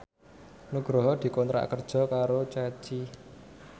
Nugroho dikontrak kerja karo Ceci